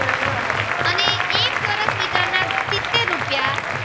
રૂપિયા.